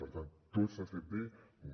per tant tot s’ha fet bé no